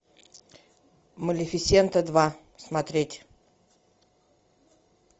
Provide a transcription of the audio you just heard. малефисента два смотреть